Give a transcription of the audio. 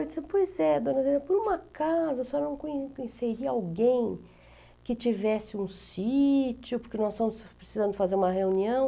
Eu disse, pois é, dona Helena, por um acaso, a senhora não con conheceria alguém que tivesse um sítio, porque nós estamos precisando fazer uma reunião.